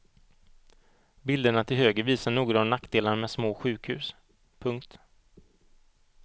Bilderna till höger visar några av nackdelarna med små sjukhus. punkt